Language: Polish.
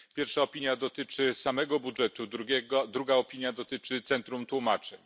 Pierwsza opinia dotyczy samego budżetu, druga opinia dotyczy Centrum Tłumaczeń.